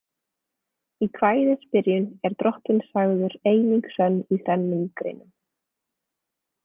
Í kvæðisbyrjun er drottinn sagður „eining sönn í þrennum greinum“ .